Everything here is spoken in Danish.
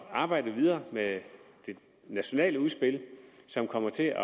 at arbejde videre med det nationale udspil som kommer til